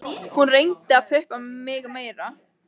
Hún reyndi að pumpa mig meira.